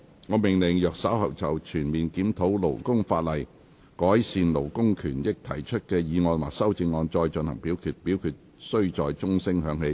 我命令若稍後就"全面檢討勞工法例，改善勞工權益"所提出的議案或修正案再進行點名表決，表決須在鐘聲響起1分鐘後進行。